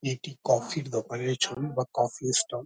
এটি কফির দোকানের ছবি বা কফির ষ্টল ।